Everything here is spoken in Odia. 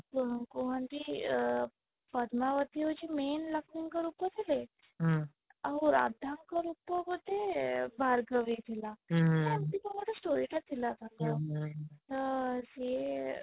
କୁହନ୍ତି ଅଁ ପଦ୍ମାବତୀ ହଉଛି main ଲକ୍ଷ୍ମୀ ଙ୍କର ରୂପ ଥିଲେ ଆଉ ରାଧା ଙ୍କ ରୂପ ବୋଧେ ଭାର୍ଗବୀ ଥିଲା ହୁଁ ଏମିତି କଣ ଗୋଟେ story ଟା ଥିଲା ତାଙ୍କର ତ ସିଏ